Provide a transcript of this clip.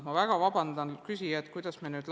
Ma väga vabandan küsijate ees!